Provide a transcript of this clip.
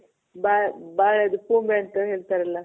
ಬಾಳೆ ಬಾಳೆದು ಪೂಮೆ ಅಂತ ಹೇಳ್ತಾರಲ್ಲ?